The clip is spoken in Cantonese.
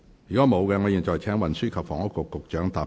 如果沒有，我現在請運輸及房屋局局長答辯。